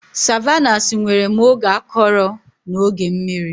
Savannahs nwere ma oge akọrọ na oge mmiri